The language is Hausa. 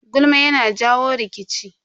Gulma yana jawo rikici.